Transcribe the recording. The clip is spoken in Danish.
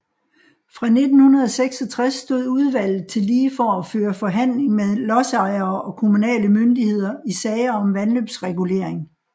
Fra 1966 stod udvlget tillige for at føre forhandling med lodsejere og kommunale myndigheder i sager om vandløbsregulering